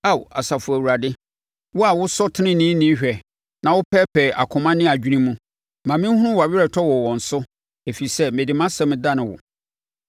Ao, Asafo Awurade! Wo a wɔsɔ ɔteneneeni hwɛ na wopɛɛpɛɛ akoma ne adwene mu, ma menhunu wʼaweretɔ wɔ wɔn so, ɛfiri sɛ mede mʼasɛm dane wo.